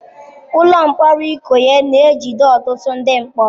Ụlọ mkpọrọ Ikoyi na-ejide ọtụtụ ndị mkpọrọ.